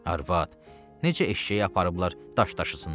Arvad, necə eşşəyi aparıblar daş daşısınlar?